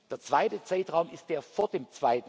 Der zweite Zeitraum ist der vor dem